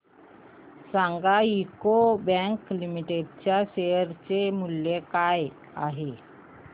सांगा UCO bank limited च्या share चे मूल्य काय आहे